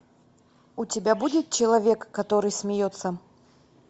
у тебя будет человек который смеется